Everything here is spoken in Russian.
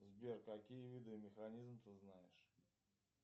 сбер какие виды механизм ты знаешь